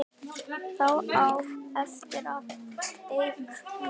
Þá á eftir að teikna.